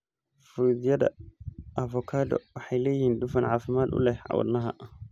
Fruityada avokado waxay leeyihiin dufan caafimaad u leh wadnaha.